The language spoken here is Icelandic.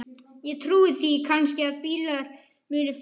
Ég trúi því kannski að bílar muni fljúga.